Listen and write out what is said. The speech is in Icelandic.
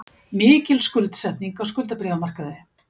Mikil skuldsetning á skuldabréfamarkaði